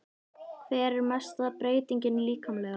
Hver er helsta breytingin líkamlega?